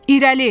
İrəli!